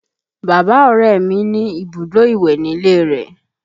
Bàbá Ọrẹ ní ibùdó ìwẹ̀ nílé rẹ̀